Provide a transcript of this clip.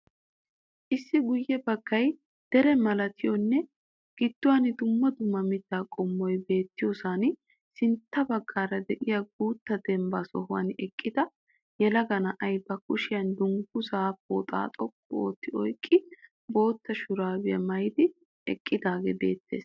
Issi guye baggay dere malatiyoonne gidduwaan dumma dumma mitta qommoy beettiyosaan sintta baggaara de'iya guutta dembba sohuwaan eqqida yelaga na'ay ba kushshiyan dungguzzaa pooxxa xoqqu otti oyqqidi bootta shurabiya mayidi eqqidaagee beettees.